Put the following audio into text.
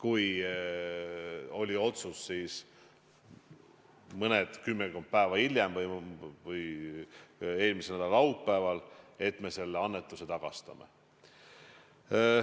Mõned päevad hiljem, kümmekond päeva hiljem, eelmise nädala laupäeval tuli otsus, et me selle annetuse tagastame.